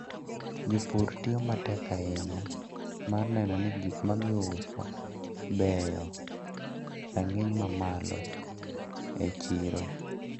Jopur tiyo matek ahinya mar neno ni gikmagiuso beyo e rang`iny mamalo e chiro.